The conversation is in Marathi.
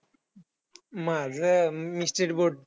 माझं अं मी state board.